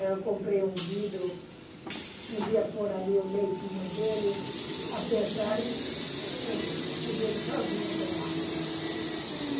Eu comprei um vidro, podia pôr ali o leitinho dele, apertar e podia ele sozinho tomar.